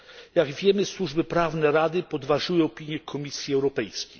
Jak wiemy służby prawne Rady podważyły opinię Komisji Europejskiej.